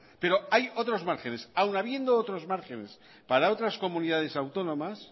pero hay otros márgenes aun habiendo otros márgenes para otras comunidades autónomas